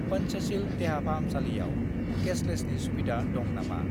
पंचशील देहाफाहामसालियाव केसलेसनि सुबिदा दं नामा?